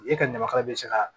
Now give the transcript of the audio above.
E ka ɲamakala bɛ se ka